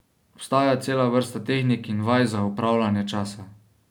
Obstaja cela vrsta tehnik in vaj za upravljanje časa.